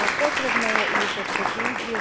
Potrebno je i u perspektivi